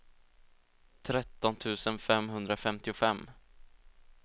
tretton tusen femhundrafemtiofem